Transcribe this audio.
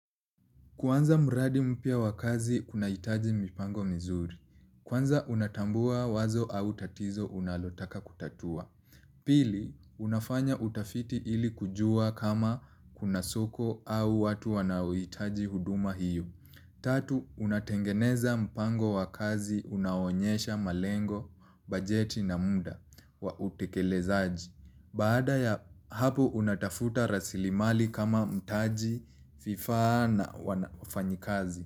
Kuanza mradi mpya wa kazi kuna hitaji mipango mizuri. Kwanza unatambua wazo au tatizo unalotaka kutatua. Pili, unafanya utafiti ili kujua kama kuna soko au watu wanauhitaji huduma hiyo. Tatu, unatengeneza mpango wakazi unao onyesha malengo, bajeti na muda wa utekelezaji. Baada ya hapo unatafuta rasilimali kama mtaji vifaa na wafanyikazi.